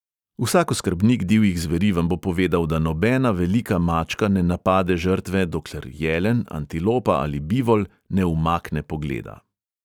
Vsak oskrbnik divjih zveri vam bo povedal, da nobena velika mačka ne napade žrtve, dokler jelen, antilopa ali bivol ne umakne pogleda.